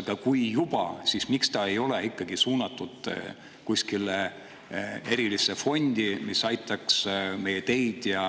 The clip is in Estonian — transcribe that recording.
Aga kui juba, siis miks see ei ole ikkagi suunatud kuskile erilisse fondi, mis aitaks meie teid ja